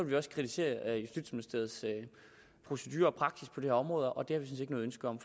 vi også kritisere justitsministeriets procedurer og praksis på det her område og det har vi ikke noget ønske om